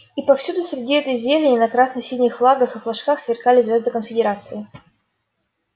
и повсюду среди этой зелени на красно-синих флагах и флажках сверкали звёзды конфедерации